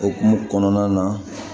Okumu kɔnɔna na